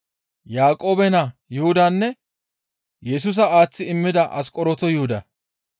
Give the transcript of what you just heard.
Yaaqoobe naa Yuhudanne Yesusa aaththi immida Asqoronto Yuhuda.